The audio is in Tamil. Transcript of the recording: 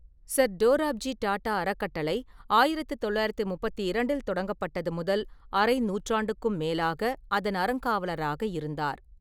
சர் டோராப்ஜி டாடா அறக்கட்டளை ஆயிரத்து தொள்ளாயிரத்து முப்பத்தி இரண்டில் தொடங்கப்பட்டது முதல் அரை நூற்றாண்டுக்கும் மேலாக அதன் அறங்காவலராக இருந்தார்.